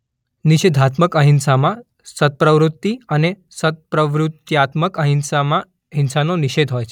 નિષેધાત્મક અહિંસામાં સત્પ્રવૃત્તિ અને સત્પ્રવૃત્યાત્મક અહિંસામાં હિંસાનો નિષેધ હોય છે.